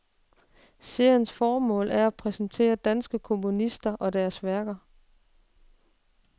Seriens formål er at præsentere danske komponister og deres værker.